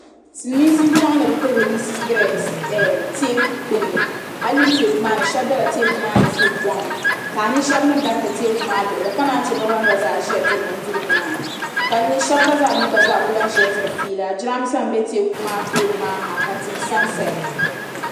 Silmiinsi n chaŋ ni bi ti riliisi sitirɛs teeku gbuni ayi yuli teeku maa ni shɛba bɛla teeku maa ni suri kɔm ka a nya shɛba ni dabi teeku maa luɣuli ka naan yi che bi ban gba zaa ʒiya diri bindirigu maa ka a nya shɛba gba zaa ni ku lahi ʒi ni maa ni diri fiila jiranbiisa n bɛ teeku maa tooni maa ha ka tihi sa n saya.